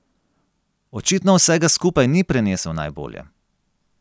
Očitno vsega skupaj ni prenesel najbolje.